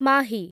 Mahi